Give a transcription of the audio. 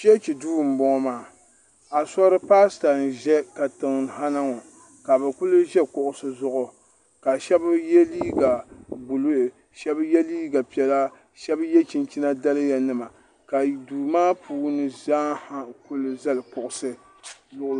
chichi do n bɔŋɔ maa a suripasita n.ʒɛ katiŋha na ŋɔ ka bɛ kuli ʒɛ kuɣisi zuɣ ka shɛbi yɛ liga buluhi ka shɛbi yɛ liga piɛla ka shɛbi yɛ chinichina daliya nima ka do.maa puuni zaa kuli zali kuɣisi